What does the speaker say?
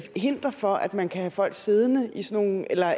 hinder for at man kan have folk siddende i sådan nogle eller